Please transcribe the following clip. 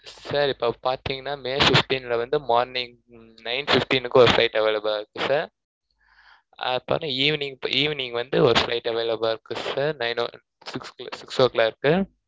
sir இப்போ பாத்தீங்கன்னா may fifteen ல வந்து morning nine fifteen க்கு ஒரு flight available ல இருக்கு sir அப்புறம் evening evening வந்து ஒரு flight available லா இருக்கு sir nine o six six o clock க்கு